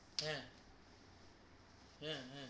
হে হে হে